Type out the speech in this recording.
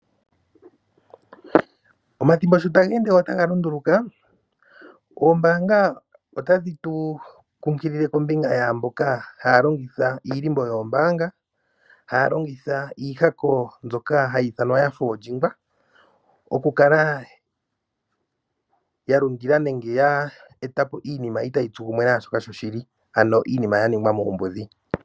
Omathimbo sho taga ende wo taga lunduluka oombaanga otadhi tu kunkilile kombinga yamboka haya longitha iilimbo yoombaanga ,haya longitha iihako mbyoka haa yi ithanwa ano ya yakwa okukala yalundila nenge ya eta po iinima ita yi tsu kumwe nashoka sho shili ano iinima yaningwa muumbudhi.